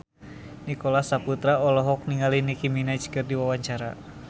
Nicholas Saputra olohok ningali Nicky Minaj keur diwawancara